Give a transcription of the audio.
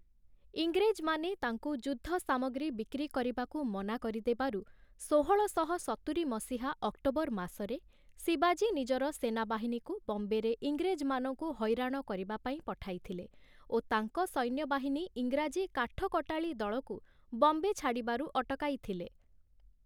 ଇଂରେଜମାନେ, ତାଙ୍କୁ ଯୁଦ୍ଧ ସାମଗ୍ରୀ ବିକ୍ରି କରିବାକୁ ମନା କରିଦେବାରୁ, ଷୋହଳ ଶହ ସତୁରି ମସିହା ଅକ୍ଟୋବର ମାସରେ ଶିବାଜୀ ନିଜର ସେନାବାହିନୀକୁ ବମ୍ବେରେ ଇଂରେଜମାନଙ୍କୁ ହଇରାଣ କରିବା ପାଇଁ ପଠାଇଥିଲେ ଓ ତାଙ୍କ ସୈନ୍ୟବାହିନୀ ଇଂରାଜୀ କାଠକଟାଳୀଦଳକୁ ବମ୍ବେ ଛାଡ଼ିବାରୁ ଅଟକାଇଥିଲେ ।